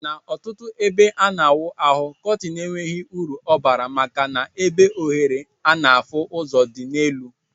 Na ọtụtụ ebe ana awụ ahụ kọtin enweghi uru ọbara maka na ebe ohere ana afụ ụzọ di na elu.